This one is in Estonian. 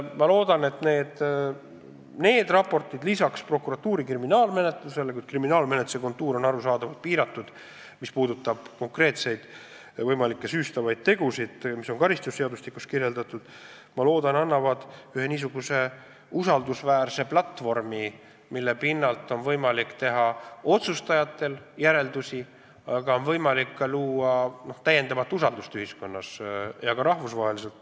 Ma loodan, et need raportid ja prokuratuuri kriminaalmenetlus – kriminaalmenetluse raam on arusaadavalt piiratud, see puudutab konkreetseid ja võimalikke süütegusid, mis on karistusseadustikus kirjas – loovad usaldusväärse platvormi, mille pinnalt on otsustajatel võimalik teha järeldusi, aga ka luua täiendavat usaldust Eesti ühiskonnas ja ka rahvusvaheliselt.